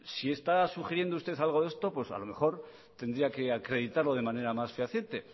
si está sugiriendo usted algo de esto a lo mejor tendría que acreditarlo de manera más fehaciente